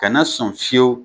Kana na sɔn fiyewu